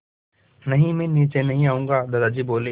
नहीं मैं नीचे नहीं आऊँगा दादाजी बोले